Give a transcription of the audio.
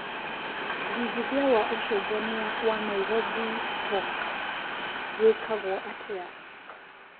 wĩĩgĩthĩa wa ũcenjanĩa wa Nairobi stock wĩkagwo atĩa